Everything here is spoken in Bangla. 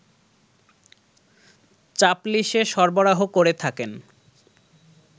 চাপলিসে সরবরাহ করে থাকেন